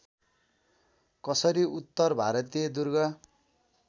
कसरी उत्तर भारतीय दुर्ग